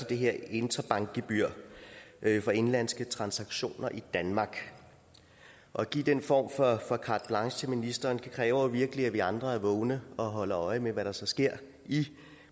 det her interbankgebyr for indenlandske transaktioner i danmark at give den form for carte blanche til ministeren kræver virkelig at vi andre er vågne og holder øje med hvad der så sker i